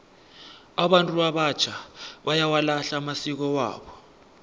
abantu abatjha bayawalahla amasiko wabo